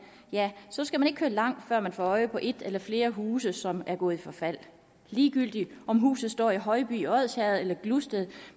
skal man ikke køre langt før man får øje på et eller flere huse som er gået i forfald ligegyldigt om huset står i højby i odsherred eller i gludsted